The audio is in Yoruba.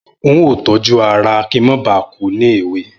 N óò tójú ara kí n má ba à kú ní èwe.